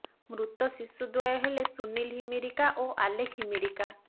ମୃତ ଶିଶୁ ଦ୍ବୟ ହେଲେ ସୁନୀଲ ହିମିରିକା ଓ ଆଲେଖ ହିମିରିକା